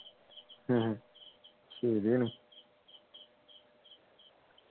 ആഹ് ശരിയാണ്